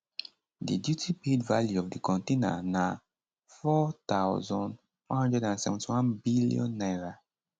di duty paid value of di container na n4171billion